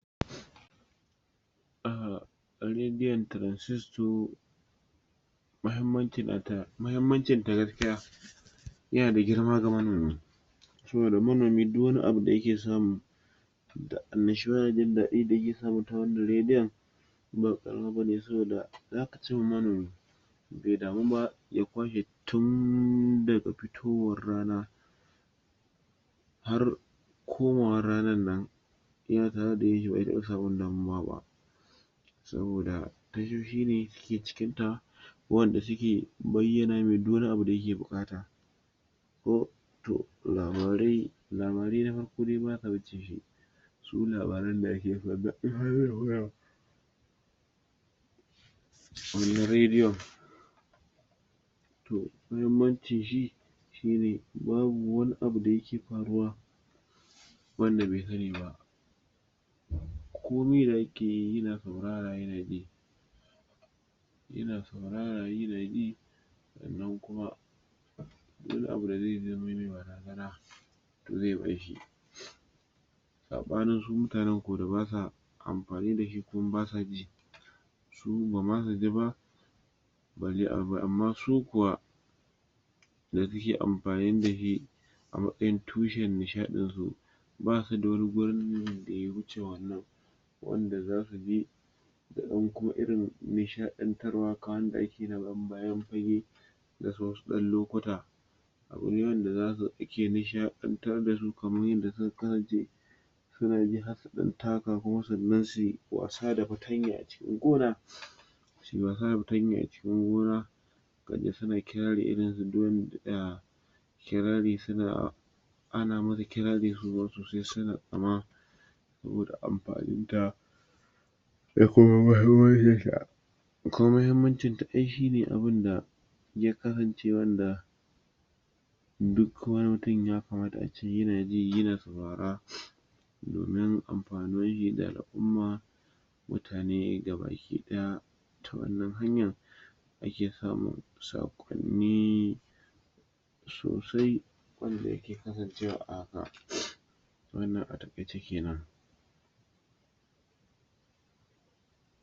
a radio transisto mahimmancin gaskiya yanda girma game da saboda manomi duk wani abu dayake samu annashu wa da in dadi da yake ji ta wannan radio na cin manomi bai damu ba ya kwashe su tun daga fitowar rana har koma wan ranar nan yana tare da shi bai taɓa samun damuwa ba saboda dasho shi ne suke cikin ta wanda suke bayyana mai duk wani abu da yake bukata ko to labarai yafi su labaran da ake so domin radio to mahimmancin shi shine babu wani abu da yake faruwa wanda bai sani nba komi da yake yi yana saurara yana ji yan saurara yana bi sannan kum a duk abu... afanin su mutanen ku da basa amfani dashi kuma basa ci su bama su ci ba balle amma su kuwa da suke amfani dashi a mastayin tushen nishadin su basu d wani gurin da ya wuce wannan wanda zasu je su dan ko irin nishadantar wa da ake na bayan fage wasu dan lokuta abu ne wanda yake dan nishadantar dasu kamar yadda suka kasance suna bi har su dan taka kuma sannan suyi wasa da fatanya a cikin gona suyi wasa da fatanya a cikin gona kaji suna kirari irin su du wanda kirari suna ana musu kirari su zo su zo sai suna kama saboda amfani da da kuma mahimmancin sa kuma mahimmancin duka shine abun da ya ksarance wanda duk wani mutum ya kamata ace yana ji yana saurara domin amfaninshi da al'umma mutane gabaki daya to wannan hanya ake kawo sakonni sosai wanda yake kasancewa a haka wannan a takaice kenan.